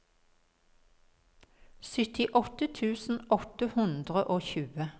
syttiåtte tusen åtte hundre og tjue